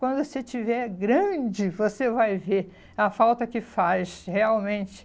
Quando você estiver grande, você vai ver a falta que faz realmente.